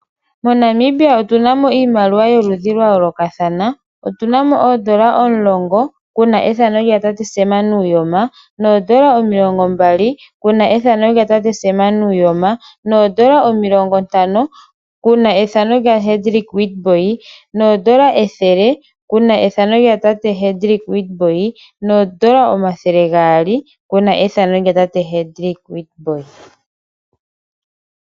Mo Namibia otuna mo iimaliwa yo ludhi lwa yoolokathana. Otuna mo oondola omulongo kuna ethano lya tate Sem Nuujoma , oondola omilongo mbali kuna ethano lya tate Sem Nuujoma, oondola omilongo ntano kuna ethano lyatate Hendrick Witbooi, oondola ethele kuna ethano lya tate Hendrick Witbooi noondola omathele gaali kuna ethano lya tate Hendrick Witbooi.